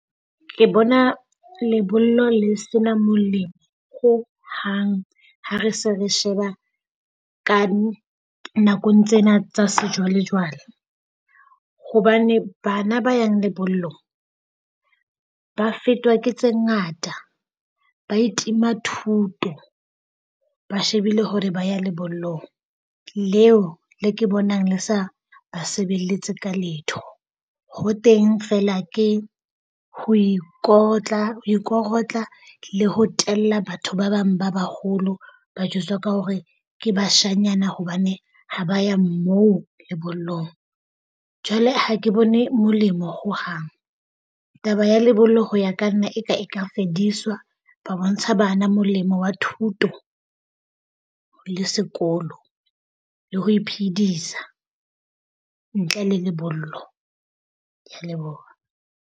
Ke bona lebollo le sena molemo hohang ha re se re sheba ka nakong tsena tsa sejwale jwale. Hobane, bana ba yang lebollo ba fetwa ke tse ngata. Ba itima thuto. Ba shebile hore ba ya lebollong leo le ke bonang le sa ba sebeletse ka letho. Ho teng feela ke ho ikotla ho ikorotla le ho tella batho ba bang ba baholo ba jwetswa ka hore ke bashanyana hobane ha ba ya mo lebollong. Jwale ha ke bone molemo hohang. Taba ya lebollo ho ya ka nna e ka e ka fediswa ba bontsha bana molemo wa thuto le sekolo le ho iphedisa ntle le lebollo. Kea leboha.